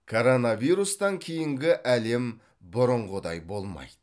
коронавирустан кейінгі әлем бұрынғыдай болмайды